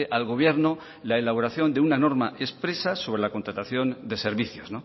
al gobierno la elaboración de una norma expresa sobre la contratación de servicios